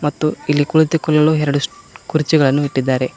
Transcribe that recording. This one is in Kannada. ಮತ್ತು ಇಲ್ಲಿ ಕುಳಿತುಕೊಳ್ಳಲು ಎರಡು ಕುರ್ಚಿಗಳನ್ನು ಇಟ್ಟಿದ್ದಾರೆ.